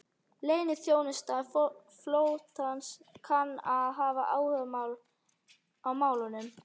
Leyniþjónusta flotans kann að hafa áhuga á málinu